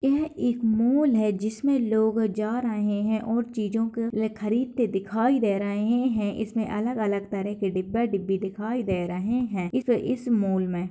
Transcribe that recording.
यह एक मॉल हैं जिसमें लोग जा रहे हैं और चींजो को खरीदते दिखाई दे रहे हैं इसमें अलग-अलग तरह के डिब्बे-डिब्बी दिखाई दे रहे हैं इस इस मॉल में --